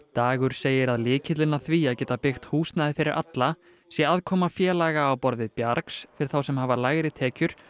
dagur segir að lykillinn að því að geta byggt húsnæði fyrir alla sé aðkoma félaga á borð við bjargs fyrir þá sem hafa lægri tekjur